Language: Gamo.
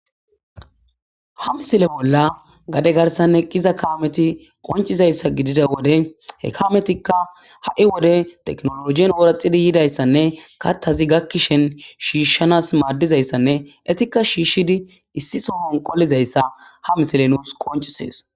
Ha misile bolla gade garsanne qiza kaameti qoncizayssa gidida wode he kaametikka ha'i wode teknolologien ooraxidi yidayssanne kattazi gakkishen shiishshanas maaddizayssanne etikka shiishshidi issi so hon qolizayssa ha misile nuus qoncisees